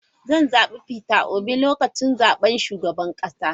Zan zabi Peter Obi a lokacin zaben shugaban kasa.